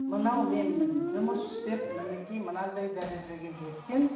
мынау менмін жұмыс істеп мінекей мынандай дәрежеге жеткен